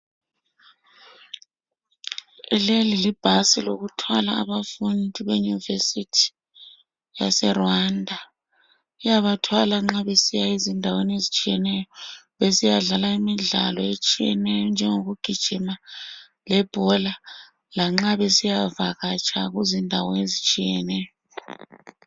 Leyi yibhasi yokuthwala abafundi beyunivesithi yaseRwanda. Ibathwala nxa besiya ezindaweni ezitshiyeneyo, besiyadlala imidlalo etshiyeneyo njengokugijima lebhola. Lanxa besiyavakatsha kuzindawo ezitshiyeneyo.